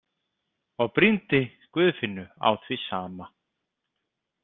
Og brýndi Guðfinnu á því sama.